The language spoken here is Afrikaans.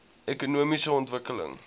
ekonomiese ontwikkeling